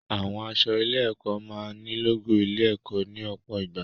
Àwọn aṣọ ilé-ẹ̀kọ́ máa ní lógò ilé-ẹ̀kọ́ ní ọ̀pọ̀ ìgbà.